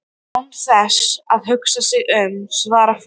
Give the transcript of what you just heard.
Og án þess að hugsa sig um svarar forsetinn